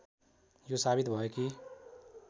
यो साबित भयो कि